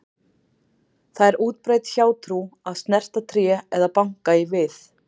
Það er útbreidd hjátrú að snerta tré eða banka í við.